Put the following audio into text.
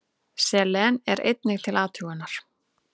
Selen er einnig til athugunar.